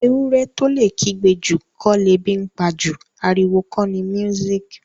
Ewúrẹ́ tó lè kígbe jù kọ́ lebi ńpa jù. Ariwo kọ ni music